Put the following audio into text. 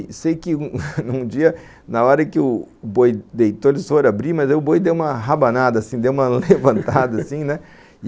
E sei que um dia, na hora que o boi deitou, eles foram abrir, mas aí o boi deu uma rabanada, assim, deu uma levantada, assim, né?